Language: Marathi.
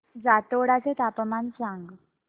जातोडा चे तापमान सांग